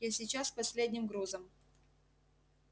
я сейчас с последним грузом